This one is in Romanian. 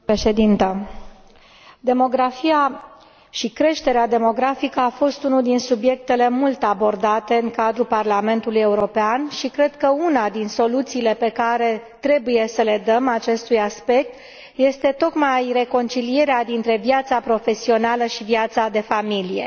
Doamnă președinte, demografia și creșterea demografică au fost unul din subiectele mult abordate în cadrul Parlamentului European și cred că una din soluțiile pe care trebuie să le dăm acestui aspect este tocmai reconcilierea dintre viața profesională și viața de familie.